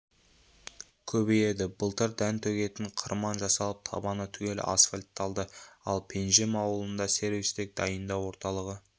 көбейеді былтыр дән төгетін қырман жасалып табаны түгел асфальтталды ал пенжім ауылында сервистік дайындау орталығы